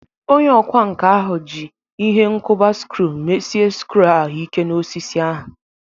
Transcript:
Onye ọkwá nkà ahụ ji ihe nkuba skru mesie skru ahu Ike n'osisi ahu.